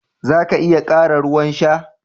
Za ka iya ƙara ruwan sha.